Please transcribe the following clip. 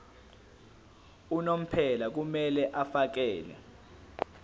unomphela kumele afakele